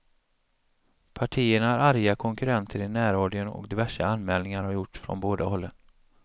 Partierna är arga konkurrenter i närradion och diverse anmälningar har gjorts från båda hållen.